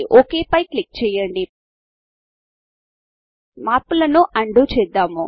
ఒక్ పై క్లిక్ చేయండి మార్పులను అన్డూ చేద్దాము